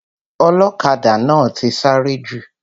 Ọlọ́kadà náà ti sáré jù.